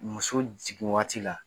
Muso jigin wagati la.